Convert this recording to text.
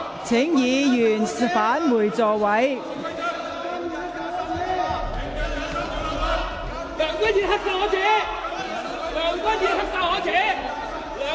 請議員返回座位。